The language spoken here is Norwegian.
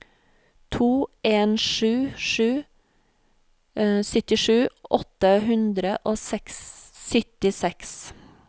to en sju sju syttisju åtte hundre og syttiseks